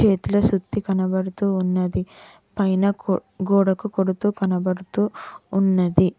ఇట్ల సుత్తి కనపడుతూ ఉన్నది పైన గో గోడకు కొడుతు కనపడుతూ ఉన్నది.